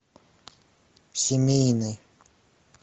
семейный